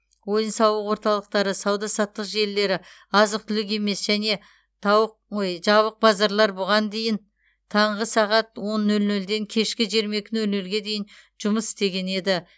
ойын сауық орталықтары сауда саттық желілері азық түлік емес және тауық ой жабық базарлар бұған дейін таңғы сағат он нөл нөлден кешкі жиырма екі нөл нөлге дейін жұмыс істеген еді